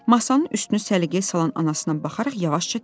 Masanın üstünü səliqəyə salan anasına baxaraq yavaşca dedi.